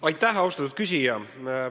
Aitäh, austatud küsija!